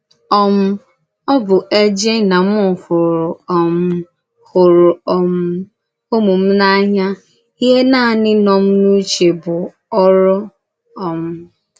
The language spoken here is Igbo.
um Ọ bụ̀ éjè na m hụrụ̀ um hụrụ̀ um ụmụ m n’ànyà, íhè nānì nọ n’úchè m bụ̀ orù. um